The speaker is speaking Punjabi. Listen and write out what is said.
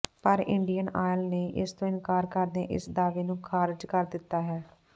ਪਰ ਇੰਡੀਅਨ ਆਇਲ ਨੇ ਇਸ ਤੋਂ ਇਨਕਾਰ ਕਰਦਿਆਂ ਇਸ ਦਾਅਵੇ ਨੂੰ ਖਾਰਜ ਕਰ ਦਿੱਤਾ ਹੈ